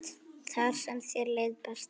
Þar sem þér leið best.